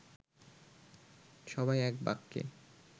সবাই এক বাক্যে